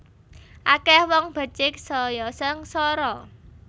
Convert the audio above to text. Akeh wong becik saya sengsara